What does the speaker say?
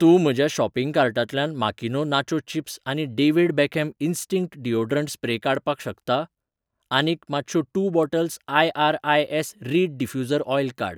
तूं म्हज्या शॉपिंग कार्टांतल्यान माकिनो नाचो चिप्स आनी David Beckham instinct deodorant spray काडपाक शकता? आनीक, मातशो two bottles IRIS. Reed diffuser oil काड.